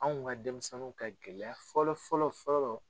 Anw ka denmisɛnnu ka gɛlɛya fɔlɔ fɔlɔ fɔlɔ